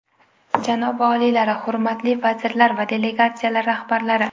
Janobi oliylari, hurmatli vazirlar va delegatsiyalar rahbarlari!